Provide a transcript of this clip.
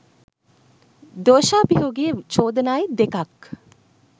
දෝශාභියෝගයේ චෝදනායි දෙකක්.